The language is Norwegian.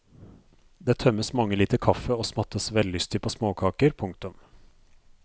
Det tømmes mange liter kaffe og smattes vellystig på småkaker. punktum